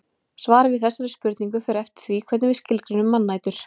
Svarið við þessari spurningu fer eftir því hvernig við skilgreinum mannætur.